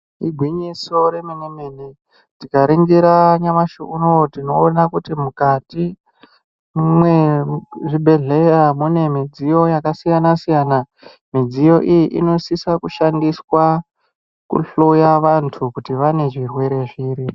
Igwinyiso remene mene tikaringira nyamashi unowu tinoona kuti mukati mwezvibhedhleya mune midziyo yakasiyana-siyana midziyo iyi inosisa kushandiswa kuhloya vanthu kuti vane zvirwere zviri.